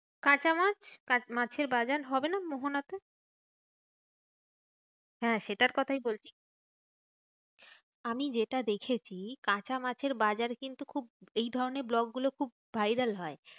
কাঁচা মাছ? মাছের বাজার হবে না মোহনাতে? হ্যাঁ সেটার কথাই বলছি। আমি যেটা দেখেছি কাঁচা মাছের বাজার কিন্তু খুব এই ধরণের vlog গুলো খুব viral হয়।